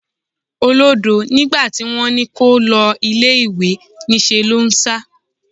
Olódo! Nígbà tí wón ní kó o lọ ilẹ̀ ìwé, ní ṣe lò ń sá.